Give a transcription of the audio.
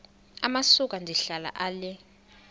amasuka ndihlala ale